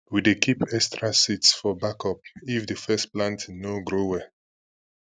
we dey keep extra seeds for backup if the first planting no grow well